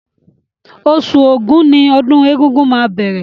Oṣù Ògún ni ọdún egúngún máa bẹ̀rẹ̀